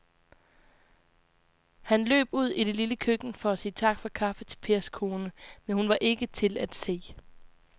Han løb ud i det lille køkken for at sige tak for kaffe til Pers kone, men hun var ikke til at se.